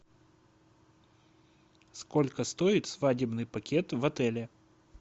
сколько стоит свадебный пакет в отеле